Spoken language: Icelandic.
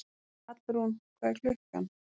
Hallrún, hvað er klukkan?